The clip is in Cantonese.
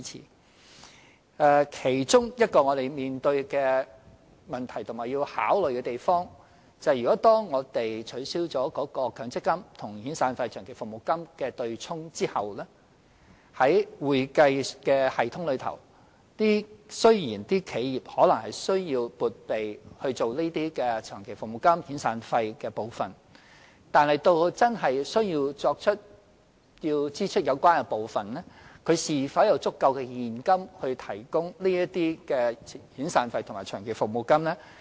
我們面對的其中一個問題，也是要考慮的一點，就是一旦取消了強積金與遣散費或長期服務金的"對沖"安排後，各企業在會計系統上，雖然需要撥備作長期服務金、遣散費，但及至要支付有關款項時，企業是否有足夠現金應付這些遣散費和長期服務金呢？